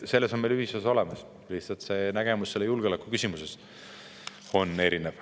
Selles on meil ühisosa olemas, lihtsalt arusaam julgeolekuküsimusest on erinev.